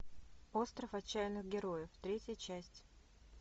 остров отчаянных героев третья часть